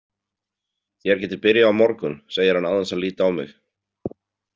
Þér getið byrjað á morgun, segir hann án þess að líta á mig.